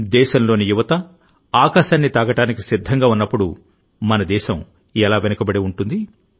దేశంలోని యువత ఆకాశాన్ని తాకడానికి సిద్ధంగా ఉన్నప్పుడుమన దేశం ఎలా వెనుకబడి ఉంటుంది